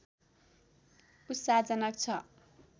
उत्साहजनक छ